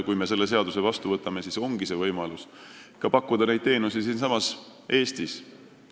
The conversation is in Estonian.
Kui me selle seaduse vastu võtame, siis ongi võimalik pakkuda neid teenuseid siinsamas Eestis.